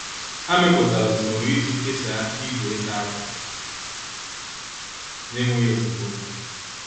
Ha mepụtara usoro iji kesaa igwe ịsa akwa n'enweghị esemokwu.